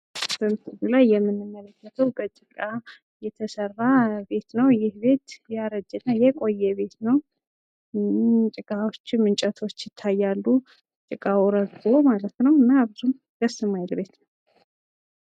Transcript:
በምስሉ ላይ የምንመለከተው በጭቃ የተሰራ ቤት ነው ። ይህ ቤት ያረጀ እና የቆየ ቤት ነው ጭቃዎችም እንጨቶች ይታያሉ ጭቃው ረግፎ ማለት ነው ። ምናቸውም ደስ ማይል ቤት ነው ።